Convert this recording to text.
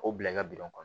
K'o bila i ka kɔnɔ